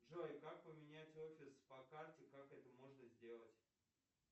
джой как поменять офис по карте как это можно сделать